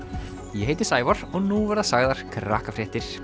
ég heiti Sævar og nú verða sagðar